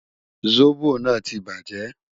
Zobo naa ti baje